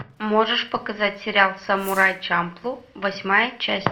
можешь показать сериал самурай чамплу восьмая часть